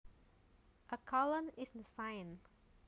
A colon is the sign